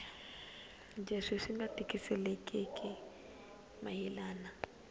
leswi swi nga twisisekeki mayelana